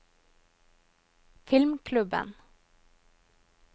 filmklubben